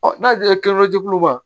n'a diyara ma